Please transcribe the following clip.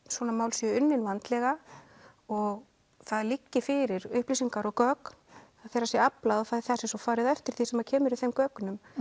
svona mál séu unnin vandlega og það liggi fyrir upplýsingar og gögn og það sé svo farið eftir því sem kemur í þeim gögnum